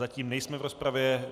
Zatím nejsme v rozpravě.